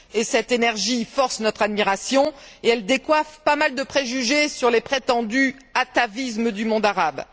Cette énergie force notre admiration et elle décoiffe pas mal de préjugés sur les prétendus atavismes du monde arabe.